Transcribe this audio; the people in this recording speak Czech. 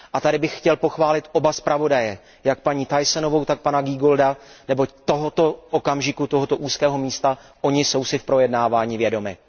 A tady bych chtěl pochválit oba zpravodaje, jak paní Thyssenovou, tak pana Giegolda, neboť tohoto okamžiku, tohoto úzkého místa oni jsou si v projednávání vědomi.